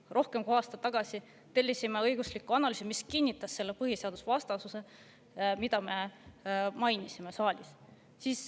Rohkem kui aasta tagasi tellisime õigusliku analüüsi, mis kinnitas põhiseadusvastasust, mida me mainisime saalis.